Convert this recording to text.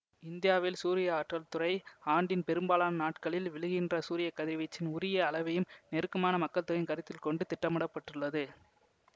இந்தியாவில் சூரிய ஆற்றல் துறை ஆண்டின் பெரும்பாலான நாட்களில் விழுகின்ற சூரிய கதிர்வீச்சின் உயரிய அளவையும் நெருக்கமான மக்கள்தொகையையும் கருத்தில் கொண்டு திட்டமிட பட்டுள்ளது